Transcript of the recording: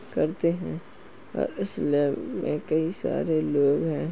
करते हैं और इस लैब में कई सारे लोग हैं।